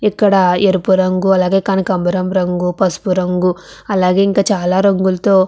ఇక్కడ ఎరుపు రంగు అలాగే కనకాంబరపు రంగు పసుపు రంగు అలాగే ఇంకా చాలా రంగులతో --